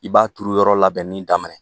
I b'a turu yɔrɔ labɛnni daminɛ